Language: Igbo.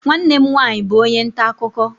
Nwanne m nwanyị bụ onye nta akụkọ.